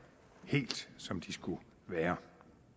helt som de skulle være